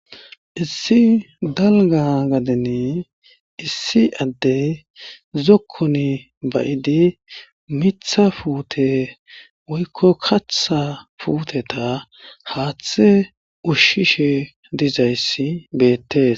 issi dalga gadeni issi addey zokkoni bayidi mitha puute woykko katha puteta haaththe ushshishe dizayssi beettes